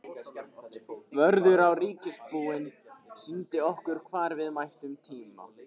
Vörður á ríkisbúinu sýndi okkur hvar við mættum tína.